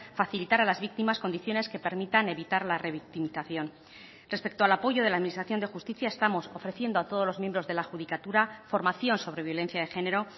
facilitar a las víctimas condiciones que permitan evitar la revictimización respecto al apoyo de la administración de justicia estamos ofreciendo a todos los miembros de la judicatura formación sobre violencia de género